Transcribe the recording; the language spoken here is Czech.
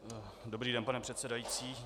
Dobrý den, pane předsedající.